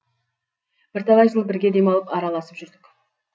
бірталай жыл бірге демалып араласып жүрдік